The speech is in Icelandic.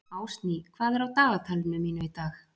Ásný, hvað er á dagatalinu mínu í dag?